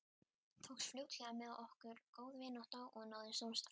Tókst fljótlega með okkur góð vinátta og náið samstarf.